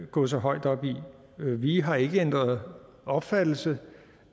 gå så højt op i vi vi har ikke ændret opfattelse